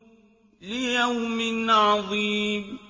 لِيَوْمٍ عَظِيمٍ